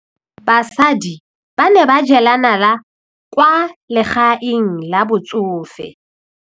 Basadi ba ne ba jela nala kwaa legaeng la batsofe.